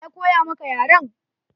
Wa ya koya maka yaren?